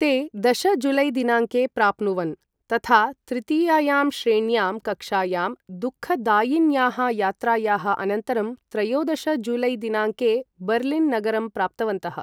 ते दश जुलै दिनाङ्के प्राप्नुवन्, तथा तृतीयायां श्रेण्यां कक्षायाम् दुःखदायिन्याः यात्रायाः अनन्तरं, त्रयोदश जुलै दिनाङ्के बर्लिन् नगरं प्राप्तवन्तः।